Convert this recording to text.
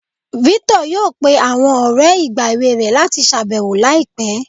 Victor yọọ pẹ̀ awọn ọrẹ̀ igba ẹwẹ̀ rẹ̀ lati ṣabẹwo laipẹ̀